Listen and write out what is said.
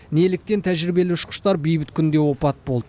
неліктен тәжірибелі ұшқыштар бейбіт күнде опат болды